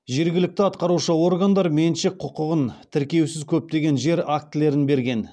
жергілікті атқарушы органдар меншік құқығын тіркеусіз көптеген жер актілерін берген